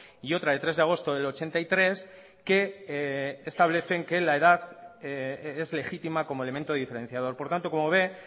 y otra de tres de agosto del ochenta y tres que establecen que la edad es legítima como elemento diferenciador por tanto como ve